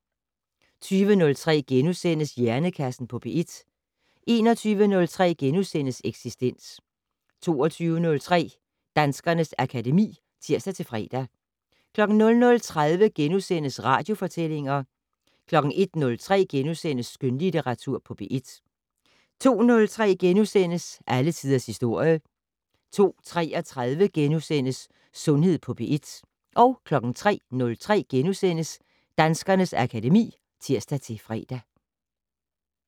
20:03: Hjernekassen på P1 * 21:03: Eksistens * 22:03: Danskernes akademi (tir-fre) 00:30: Radiofortællinger * 01:03: Skønlitteratur på P1 * 02:03: Alle tiders historie * 02:33: Sundhed på P1 * 03:03: Danskernes akademi *(tir-fre)